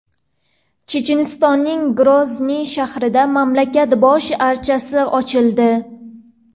Chechenistonning Grozniy shahrida mamlakat bosh archasi ochildi.